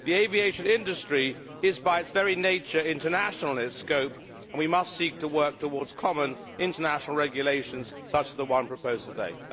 The aviation industry is, by its very nature, international in scope, and we must seek to work towards common, international regulations such as the one proposed today.